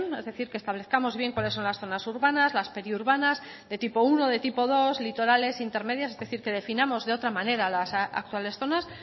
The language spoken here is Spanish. es decir que establezcamos bien cuáles son las zonas urbanas las periurbanas de tipo uno de tipo dos litorales intermedias es decir que definamos de otra manera las actuales zonas